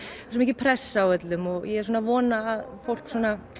svo mikil pressa á öllum og ég er svona að vona að fólk